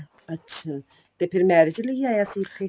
ਅੱਛਾ ਤੇ ਫ਼ਿਰ marriage ਲਈ ਆਇਆ ਸੀ ਇੱਥੇ